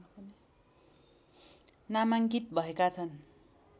नामाङ्कित भएका छन्